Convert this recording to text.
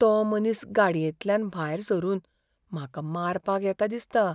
तो मनीस गाडयेंतल्यान भायर सरून म्हाका मारपाक येता दिसता.